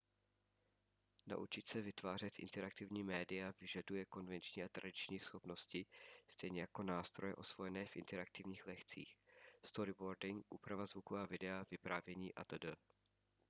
naučit se vytvářet interaktivní média vyžaduje konvenční a tradiční schopnosti stejně jako nástroje osvojené v interaktivních lekcích storyboarding úprava zvuku a videa vyprávění atd.